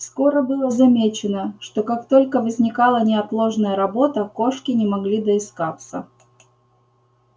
скоро было замечено что как только возникала неотложная работа кошки не могли доискаться